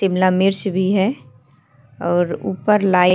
शिमला मिर्च भी है और उप्पर लाइट --